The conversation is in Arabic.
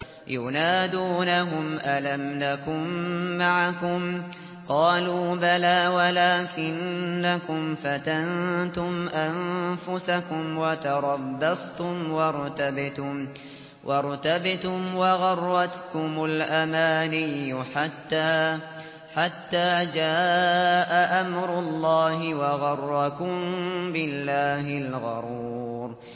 يُنَادُونَهُمْ أَلَمْ نَكُن مَّعَكُمْ ۖ قَالُوا بَلَىٰ وَلَٰكِنَّكُمْ فَتَنتُمْ أَنفُسَكُمْ وَتَرَبَّصْتُمْ وَارْتَبْتُمْ وَغَرَّتْكُمُ الْأَمَانِيُّ حَتَّىٰ جَاءَ أَمْرُ اللَّهِ وَغَرَّكُم بِاللَّهِ الْغَرُورُ